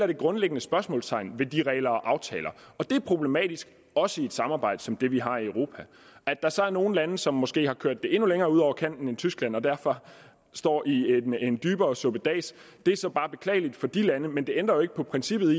det grundlæggende spørgsmålstegn ved de regler og aftaler det er problematisk også i et samarbejde som det vi har i europa at der så er nogle lande som måske har kørt det endnu længere ud over kanten end tyskland og derfor står i en dybere suppedas er så bare beklageligt for de lande men det ændrer jo ikke på princippet